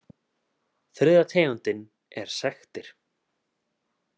Þriðja tegundin er sektir.